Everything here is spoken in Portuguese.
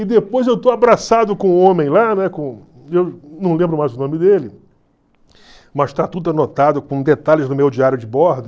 E depois eu estou abraçado com um homem lá, né, com não lembro mais o nome dele, mas está tudo anotado com detalhes no meu diário de bordo.